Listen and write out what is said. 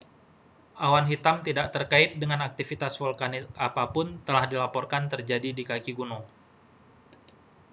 awan hitam tidak terkait dengan aktivitas vulkanis apa pun telah dilaporkan terjadi di kaki gunung